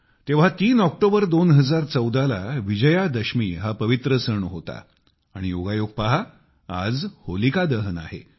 तेव्हा 3 ऑक्टोबर 2014 ला विजयादशमी हा पवित्र सण होता आणि योगायोग पहा की आज होलिका दहन आहे